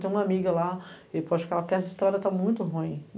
Tem uma amiga lá e pode ficar lá, porque essa história tá muito ruim.